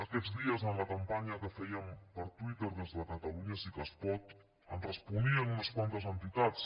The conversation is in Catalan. aquests dies en la campanya que fèiem per twitter des de catalunya sí que es pot ens responien unes quantes entitats